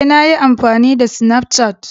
Ee, na yi amfani da SnafCat.